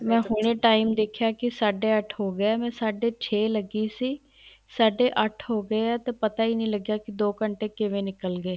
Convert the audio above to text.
ਮੈਂ ਹੁਣੇ time ਦੇਖਿਆ ਕੀ ਸਾਡੇ ਅੱਠ ਹੋ ਗਏ ਮੈਂ ਸਾਡੇ ਛੇ ਲੱਗੀ ਸੀ ਸਾਡੇ ਅੱਠ ਹੋ ਗਏ ਏ ਤੇ ਪਤਾ ਹੀ ਨਹੀਂ ਲਗਿਆ ਕੀ ਦੋ ਘੰਟੇ ਕਿਵੇਂ ਨਿੱਕਲ ਗਏ